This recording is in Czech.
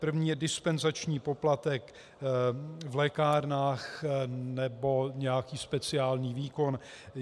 První je dispenzační poplatek v lékárnách, nebo nějaký speciální výkon.